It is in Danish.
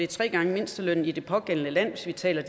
tre gange mindstelønnen i de pågældende lande hvis vi taler